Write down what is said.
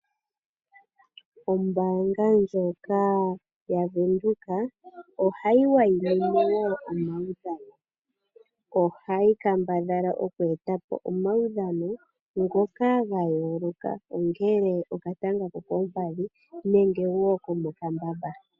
Ombanga ndjoka yaVenduka ohay wayi mine wo omaudhano. Ohayi kambadhala oku etapo omawudhano ngoka gayoloka. Ongele okatanga ko koompadhi nenge okomokambamba.